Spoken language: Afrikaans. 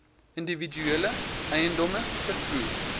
individuele eiendomme vervoer